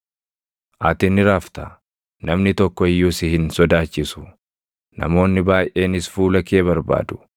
Ati ni rafta; namni tokko iyyuu si hin sodaachisu; namoonni baayʼeenis fuula kee barbaadu.